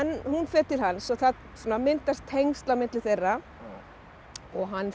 hún fer til hans og það svona myndast tengsl á milli þeirra og hann fer